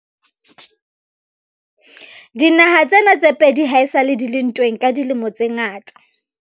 dinaha tsena tse pedi ha esale di le ntweng ka dilemo tse ngata